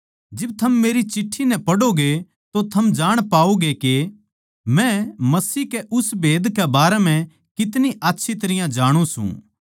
जिब थम मेरी चिट्ठी नै पढ़ोगे तो थम जाण पाओगे के मै मसीह के उस भेद के बारें म्ह कितनी आच्छी तरियां जाणु सूं